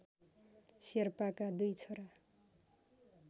शेर्पाका २ छोरा